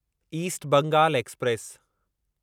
east Bengal express